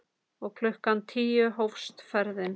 Og klukkan tíu hófst ferðin.